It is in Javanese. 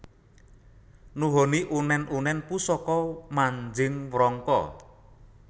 Nuhoni unen unen Pusaka manjing Wrangka